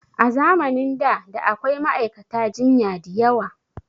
A zamanin da da akwai ma'aikata jinya diyawa